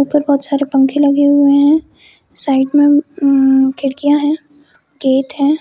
ऊपर बहुत सारे पंखे लगे हुए है साइड मे खिड़कीया है गेट है।